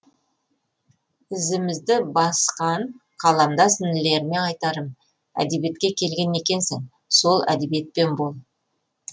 ізімізді басқанқаламдас інілеріме айтарым әдебиетке келген екенсің сол әдебиетпен бол